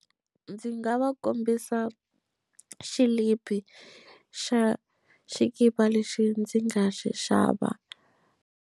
Ndzi nga va kombisa xilipi xa xikipa lexi ndzi nga xi xava.